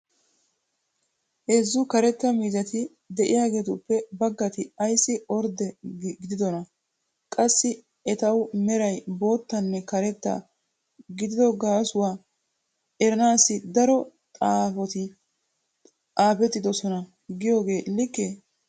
heezzu karetta miizzati diyaageetuppe bagatti ayssi ordde gididonaa? qassi etawu meray boottanne karetta gididdo gaasuwa eranaassi daro xaappoti xaapettidosona giyoogee likee?